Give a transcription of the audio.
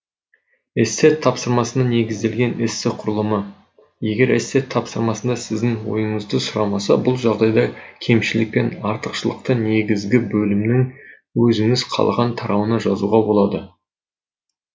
эссе тапсырмасына негізделген эссе құрылымы егер эссе тапсырмасында сіздің ойыңызды сұрамаса бұл жағдайда кемшілік пен артықшылықты негізгі бөлімнің өзіңіз қалаған тарауына жазуға болады